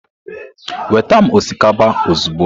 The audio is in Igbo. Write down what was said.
Weta m osikapa ozugbo.